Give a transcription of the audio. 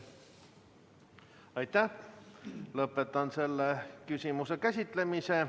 Lõpetan selle küsimuse käsitlemise.